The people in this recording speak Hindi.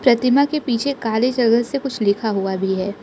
प्रतिमा के पीछे काली जगह से कुछ लिखा हुआ भी है।